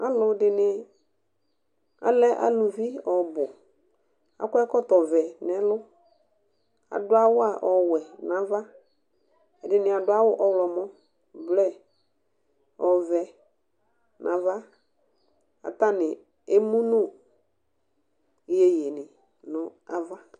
Alʋ dɩnɩ alɛ alɛ aluvi ɔbʋAkɔ ɛkɔtɔ vɛ nɛlʋ; adʋ awʋa ɔwɛ navaƐdɩnɩ adʋ awʋ : blue, ɔvɛ nava katanɩ emu nʋ yeye nɩ nava